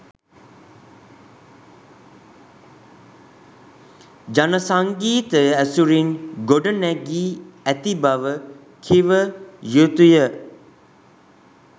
ජන සංගීතය ඇසුරින් ගොඩනැගී ඇති බව කිව යුතුය.